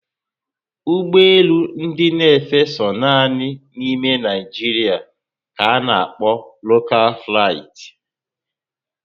Ụgbọelu ndị na efe so nanị ná ime Naijiria ka ana kpo 'local flight'